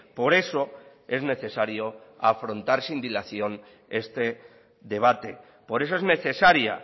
por eso es necesario afrontar sin dilación este debate por eso es necesaria